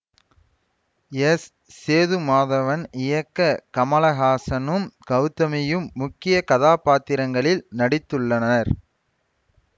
S Sethumadhavan இயக்க கமலஹாசனும் கௌதமியும் முக்கிய கதாபாத்திரங்களில் நடித்துள்ளனர்